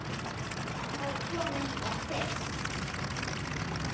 Hann hafði komið hingað fyrst